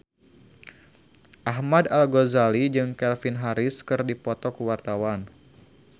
Ahmad Al-Ghazali jeung Calvin Harris keur dipoto ku wartawan